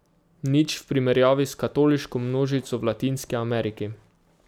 Nič v primerjavi s katoliško množico v Latinski Ameriki.